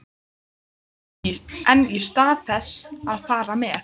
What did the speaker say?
En í stað þess að fara með